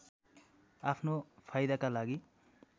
आफ्नो फाइदाका लागि